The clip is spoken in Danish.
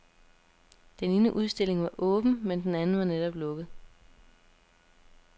Den ene udstilling var åben, men den anden var netop lukket.